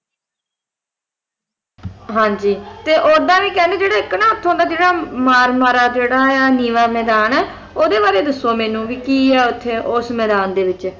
ਹਾਂ ਜੀ ਤੇ ਉੱਦਾਂ ਵੀ ਕਹਿੰਦੇ ਜਿਹੜਾ ਇੱਕ ਨਾ ਇੱਥੋਂ ਦਾ ਮਾਰ ਮਾਰਾ ਹੈ ਜਿਹੜਾ ਨੀਵਾਂ ਮੈਦਾਨ ਓਹਦੇ ਬਾਰੇ ਦੱਸੋ ਵੀ ਮੈਨੂੰ ਕੀ ਹੈ ਉੱਥੇ ਉਸ ਮੈਦਾਨ ਦੇ ਵਿੱਚ